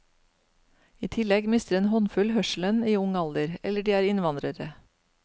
I tillegg mister en håndfull hørselen i ung alder, eller de er innvandrere.